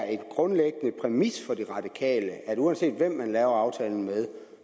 en grundlæggende præmis for de radikale at uanset hvem man laver aftalen med